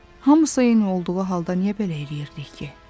Hamısı eyni olduğu halda niyə belə eləyirdik ki?